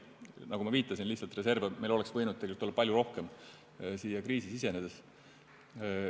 Nagu ma viitasin, reserve oleks meil võinud kriisi sisenedes olla lihtsalt palju rohkem.